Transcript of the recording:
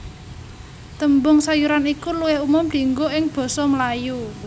Tembung sayuran iku luwih umum dienggo ing basa Melayu